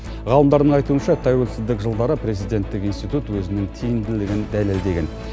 ғалымдардың айтуынша тәуелсіздік жылдары президенттік институт өзінің тиімділігін дәлелдеген